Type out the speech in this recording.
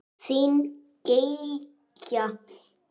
Þín Gígja.